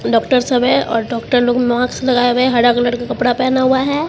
Doctor सब है और डॉक्टर लोग मास्क लगाए हुए हरा कलर का कपड़ा पहना हुआ है।